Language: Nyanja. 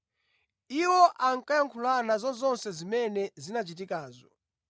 Iwo ankayankhulana za zonse zimene zinachitikazo.